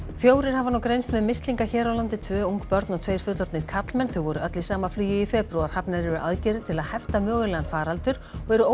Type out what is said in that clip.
fjórir hafa nú greinst með mislinga hér á landi tvö ung börn og tveir fullorðnir karlmenn þau voru öll í sama flugi í febrúar hafnar eru aðgerðir til að hefta mögulegan faraldur og eru